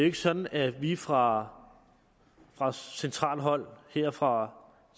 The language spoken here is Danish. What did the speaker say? ikke sådan at vi fra centralt hold her fra